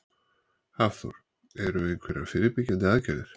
Hafþór: Eru einhverjar fyrirbyggjandi aðgerðir?